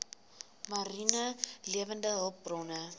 mariene lewende hulpbronne